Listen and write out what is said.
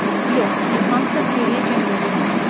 Yox, hansısa xeyriyyə cəmiyyətini himayə edir.